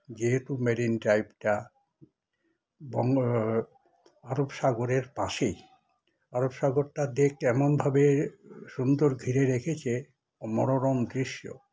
যেহেতু মেরিন ড্রাইভটা বং র এম আরবসাগরের পাশেই আরবসাগরটা দেশ যেমন সুন্দর ঘিরে রেখেছে মনোরম দৃশ্য